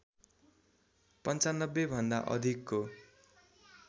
९५ भन्दा अधिकको